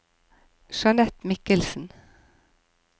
Jeanette Mikkelsen